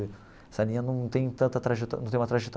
Essa linha não tem tanta trajetória não tem uma trajetória.